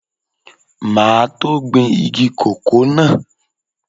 Máa tó gbin igi kòkó náà.